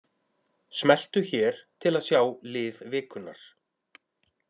Smelltu hér til að sjá lið vikunnar